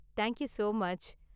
Thank you so much.